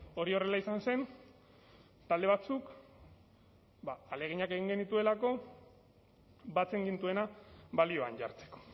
hori horrela izan zen talde batzuk ba ahaleginak egin genituelako batzen gintuena balioan jartzeko